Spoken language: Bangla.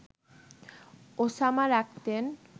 ওসামা রাখতেন